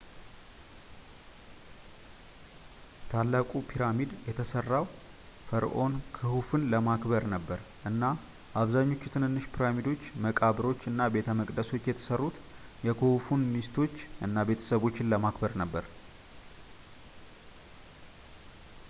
ታላቁ ፒራሚድ የተሠራ ፈርዖን ክሁፉን ለማክበር ነበር እና አብዛኛዎቹ ትንንሽ ፒራሚዶች መቃብሮች እና ቤተ መቅደሶች የተሠሩት የክሁፉን ሚስቶች እና ቤተሰቦች ለማክበር ነበር